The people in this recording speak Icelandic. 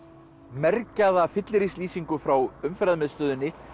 mergjaða frá Umferðarmiðstöðinni